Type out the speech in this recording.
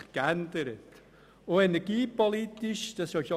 Die Zeiten haben sich geändert.